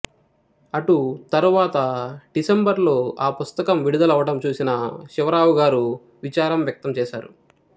అటుతరువాత December లో ఆ పుస్తకము విడదలవటం చూసిన శివరావుగారు విచారం వ్యక్తంచేశారు